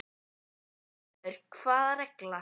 Fréttamaður: Hvaða regla?